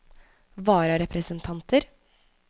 vararepresentanter